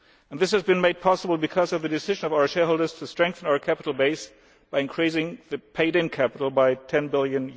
This was made possible because of the decision of our shareholders to strengthen our capital base by increasing the paid in capital by EUR 10 billion.